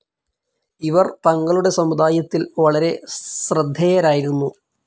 ഇവർ തങ്ങളുടെ സമുദായത്തിൽ വളരെ ശ്രദ്ധേയരായിരുന്നു.